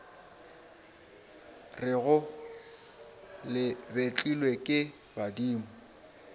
rego le betlilwe ke badimo